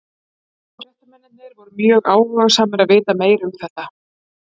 Hollensku fréttamennirnir voru mjög áhugasamir að vita meira um þetta.